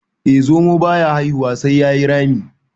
eh zomo. baya haihuwa sai ya yi Rami